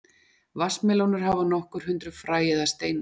vatnsmelónur hafa nokkur hundruð fræ eða steina